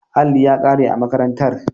Alli ya kare a makarantar.